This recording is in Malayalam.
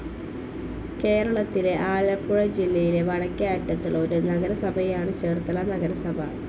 കേരളത്തിലെ ആലപ്പുഴ ജില്ലയിലെ വടക്കേ അറ്റത്തുള്ള ഒരു നഗരസഭയാണ് ചേർത്തല നഗരസഭാ.